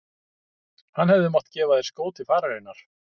Hann hefði mátt gefa þér skó til fararinnar